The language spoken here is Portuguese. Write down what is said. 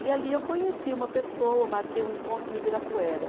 E ali eu conheci uma pessoa, marquei um encontro no Ibirapuera.